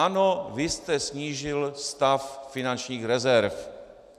Ano, vy jste snížil stav finančních rezerv.